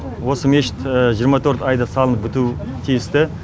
осы мешіт жиырма төрт айда салынып бітуі тиісті